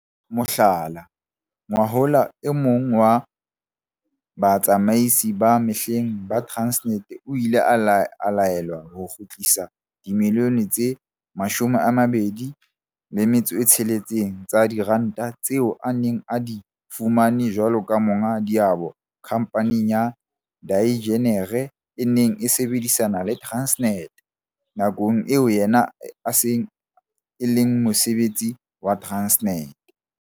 Mohlala, ngwahola e mong wa batsamaisi ba mehleng ba Transnet o ile a laelwa ho kgutlisa dimilione tse 26 tsa diranta tseo a neng a di fumane jwalo ka monga diabo khamphaneng ya dienjiniere e neng e sebedisana le Transnet nakong eo yena e sa leng mosebeletsi wa Transnet.